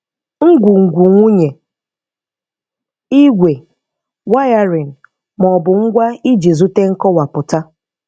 Ngwungwu nwụnye, igwe, wiring, ma ọ bụ ngwa iji zute nkọwapụta.